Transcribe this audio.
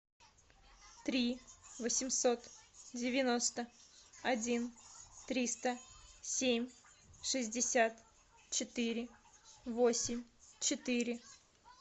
три восемьсот девяносто один триста семь шестьдесят четыре восемь четыре